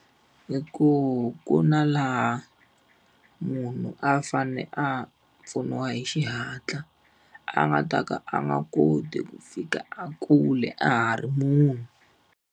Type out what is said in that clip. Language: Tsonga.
I ku ku na laha munhu a fanele a pfuniwa hi xihatla, a nga ta ka a nga koti ku fika a kule a ha ri munhu.